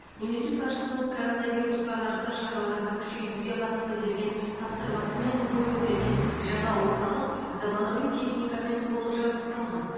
мемлекет басшысының коронавирусқа қарсы шараларды күшейтуге қатысты берген тапсырмасымен бой көтерген жаңа орталық заманауи техникамен толық жабдықталған